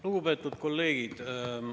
Lugupeetud kolleegid!